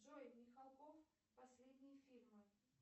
джой михалков последние фильмы